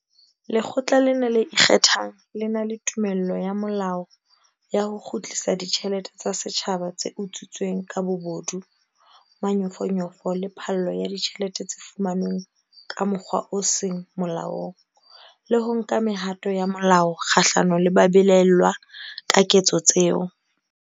Lekgotla lena le ikgethang le na le tumello ya molao ya ho kgutlisa ditjhelete tsa setjhaba tse utswitsweng ka bobodu, manyofonyofo le phallo ya ditjhelete tse fumanweng ka mokgwa o seng molaong, le ho nka mehato ya molao kgahlano le ba belaellwang ka ketso tseo.